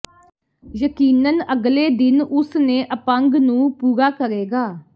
ਯਕੀਨਨ ਅਗਲੇ ਦਿਨ ਉਸ ਨੇ ਅਪੰਗ ਨੂੰ ਪੂਰਾ ਕਰੇਗਾ